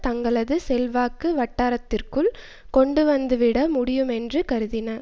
தங்களது செல்வாக்கு வட்டாரத்திற்குள் கொண்டுவந்துவிட முடியுமென்று கருதின